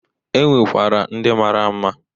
E nwekwara ndị mara mma.